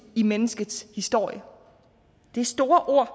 i menneskets historie det er store ord